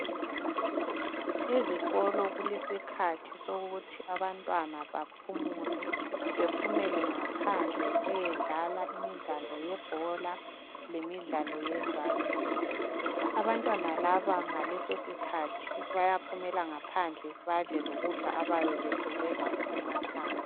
Ezikolo kulesikhathi sokuthi abantwana baphumule bephumele ngaphandle beyedlala imidlalo yebhola lemidlalo yezandla. Abantwana laba ngalesosikhathi bayaphumela ngaphandle badle lokudla abayabe besuke lakho emakhaya.